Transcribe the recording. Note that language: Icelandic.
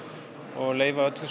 og leyfa öllu